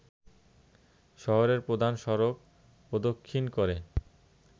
শহরের প্রধান সড়ক প্রদক্ষিণ করে